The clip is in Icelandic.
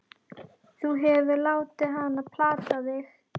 Þú hefur látið hann plata þig!